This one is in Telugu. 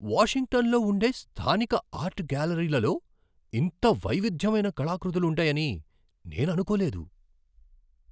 వాషింగ్టన్లో ఉండే స్థానిక ఆర్ట్ గ్యాలరీలలో ఇంత వైవిధ్యమైన కళాకృతలు ఉంటాయని నేను అనుకోలేదు.